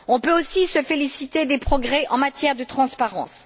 On peut aussi se féliciter des progrès en matière de transparence.